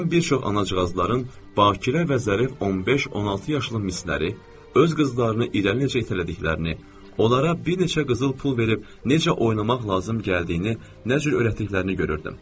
Mən bir çox anacığazların bakirə və zərif 15-16 yaşlı misləri, öz qızlarını irəli necə itələdiklərini, onlara bir neçə qızıl pul verib necə oynamaq lazım gəldiyini, nə cür öyrətdiklərini görürdüm.